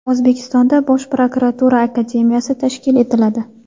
O‘zbekistonda Bosh prokuratura Akademiyasi tashkil etiladi.